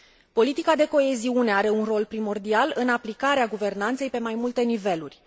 Politica de coeziune are un rol primordial în aplicarea guvernanței pe mai multe niveluri.